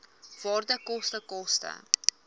waarde koste koste